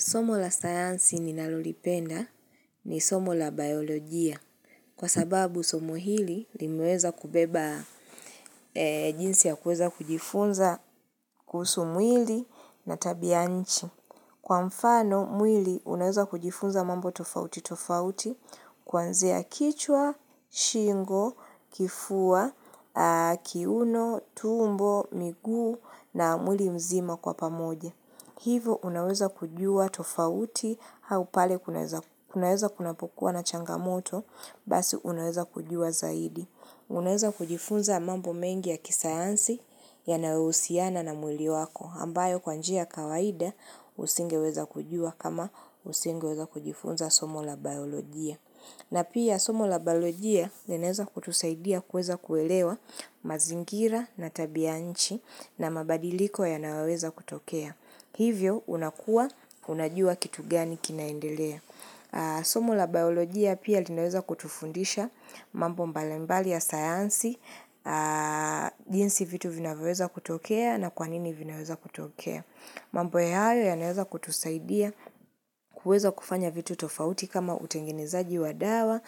Somo la sayansi ninalolipenda ni somo la biolojia kwa sababu somo hili limeweza kubeba jinsi ya kuweza kujifunza kuhusu mwili na tabianchi. Kwa mfano mwili unaweza kujifunza mambo tofauti tofauti kuanzia kichwa, shingo, kifua, kiuno, tumbo, miguu na mwili mzima kwa pamoja. Hivo unaweza kujua tofauti au pale kunaweza kunapokuwa na changamoto basi unaweza kujua zaidi. Unaweza kujifunza mambo mengi ya kisayansi yanayousiana na mwili wako ambayo kwa njia ya kawaida usingeweza kujua kama usingeweza kujifunza somo la baolojia. Na pia somo la baolojia linaeza kutusaidia kueza kuelewa mazingira na tabianchi na mabadiliko yanaweza kutokea. Hivyo, unakua, unajua kitu gani kinaendelea. Somo la biolojia pia linaweza kutufundisha mambo mbalimbali ya sayansi, jinsi vitu vinaweza kutokea na kwa nini vinaweza kutokea. Mambo hayo yanaweza kutusaidia kuweza kufanya vitu tofauti kama utengenezaji wa dawa,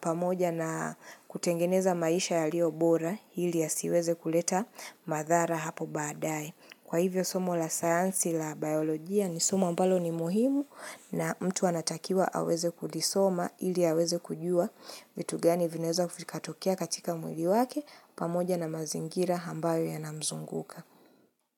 pamoja na kutengeneza maisha yalio bora, ili yasiweze kuleta madhara hapo baadaye Kwa hivyo somo la sayansi la biolojia ni somo ambalo ni muhimu na mtu anatakiwa aweze kulisoma ili aweze kujua vitu gani vinaeza vikatokea katika mwili wake pamoja na mazingira ambayo yanamzunguka.